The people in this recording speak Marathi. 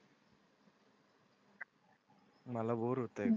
मला बोर होतंय.